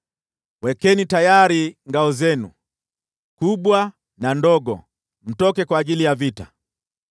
“Wekeni tayari ngao zenu, kubwa na ndogo, mtoke kwa ajili ya vita!